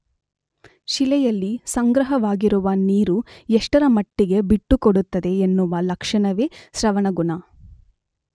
ಶಿಲೆಯಲ್ಲಿ ಸಂಗ್ರಹವಾಗಿರುವ ನೀರು ಎಷ್ಟರಮಟ್ಟಿಗೆ ಬಿಟ್ಟುಕೊಡುತ್ತದೆ ಎನ್ನುವ ಲಕ್ಷಣವೇ ಸ್ರವಣಗುಣ.